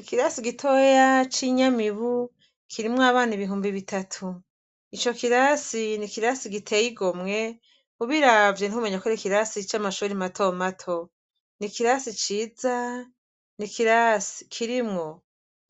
Ikirasi gitoya c' inyamibu kirimw' aban' ibihumbi bitatu, ico kirasi n' ikirasi gitey' igomwe, ubiravye ntiwomenyako karic' amashure matomato n' ikirasi ciza kirimw'